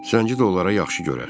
Zənci də onlara yaxşı görər.